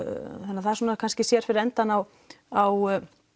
það kannski sér fyrir endann á á